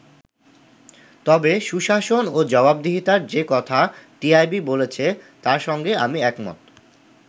তবে সুশাসন ও জবাবদিহিতার যে কথা টিআইবি বলেছে তার সঙ্গে আমি একমত”।